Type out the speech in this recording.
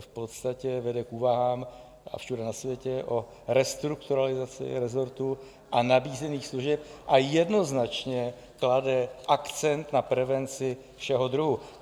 v podstatě vede v úvahám, a všude na světě, o restrukturalizaci resortu a nabízených služeb a jednoznačně klade akcent na prevenci všeho druhu.